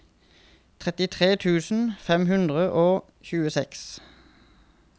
trettitre tusen fem hundre og tjueseks